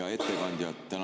Hea ettekandja!